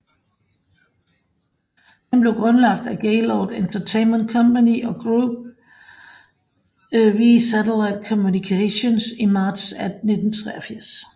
Den blev grundlagt af Gaylord Entertainment Company og Group W Satellite Communications i marts 1983